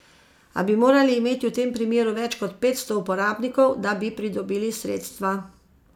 A bi morali imeti v tem primeru več kot petsto uporabnikov, da bi dobili sredstva.